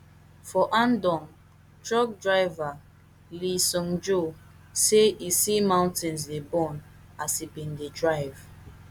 for andong truck driver lee seungjoo say e see mountains dey burn as e bin dey drive